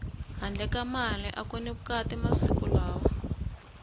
handle ka mali aku ni vukati masiku lawa